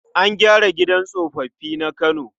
An gyara gidan tsoffi na Kano.